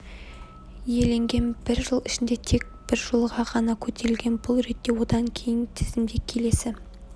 иеленген бір жыл ішінде тек бір жолға ғана көтерілген бұл ретте одан кейін тізімде келесі